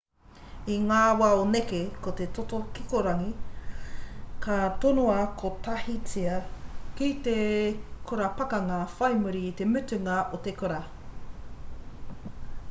i ngā wā o nehe ko te toto kikorangi ka tonoa kotahitia ki te kura pakanga whai muri i te mutunga o te kura